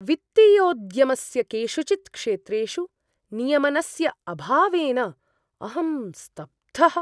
वित्तीयोद्यमस्य केषुचित् क्षेत्रेषु नियमनस्य अभावेन अहं स्तब्धः।